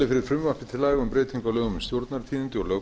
aga um breytingu á lögum um stjórnartíðindi og